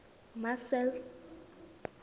marcel